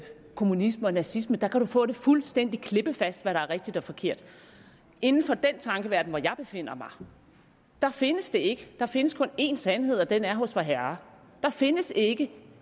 kommunisme og nazisme der kan man få det fuldstændig klippefast hvad der er rigtigt og forkert inden for den tankeverden hvor jeg befinder mig findes det ikke der findes kun én sandhed og den er hos vorherre der findes ikke